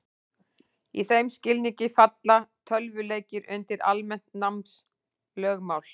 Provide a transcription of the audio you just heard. Í þeim skilningi falla tölvuleikir undir almennt námslögmál.